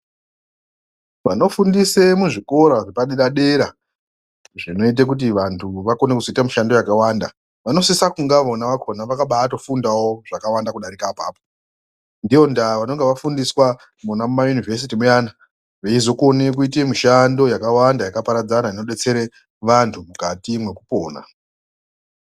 Vanofundisa muzvikora zvepadera dera zvinoita kuti vantu vakone kuzoita mushando yakawanda vanosisa kunga vona vakhona vakabaatofundawo zvakawanda kudarika apapo, ndiyo ndaa vanenge vafundiswa mwona muma yunivhesiti veizokona kuite mishando yakawanda yakaparadzana inodetsera vantu mukati mwekupona.